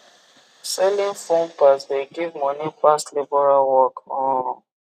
selling phone parts de give moni pass labourer work um